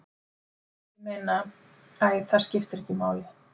Ég meina. æ, það skiptir ekki máli